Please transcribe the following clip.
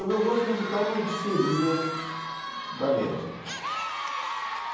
O meu gosto musical não diferia da média.